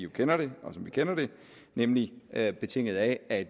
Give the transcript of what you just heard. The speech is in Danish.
den hvad der nemlig er betinget af at